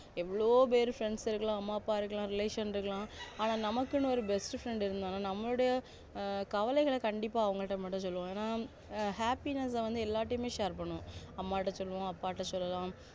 எவ்ளோ பேரு friends இருக்கலாம் அம்மா அப்பா இருக்கலாம் relation இருக்கலாம் ஆனா நமக்குன்னு ஒரு best friend இருந்தாங்கனா நம்மலுடைய கவலைகள மட்டும் அவங்ககிட்ட சொல்லுவோம் ஏனா happiness அ வந்து எள்ளார்கிட்டயுமே share பண்ணுவோம் அம்மாட்ட சொல்லுவோம் அப்பாட்ட சொல்லலாம்